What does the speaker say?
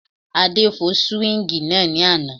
Adé fọ́ súwíngì náà ní àná